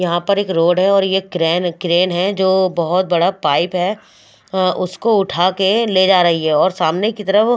यहाँ पर एक रोड है और ये क्रेन क्रैन है जो बहत बारे पाइप है उसको उठके ले जा रही है और सामने की तरफ --